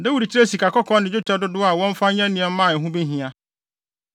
Dawid kyerɛɛ sikakɔkɔɔ ne dwetɛ dodow a wɔmfa nyɛ nneɛma a ɛho behia.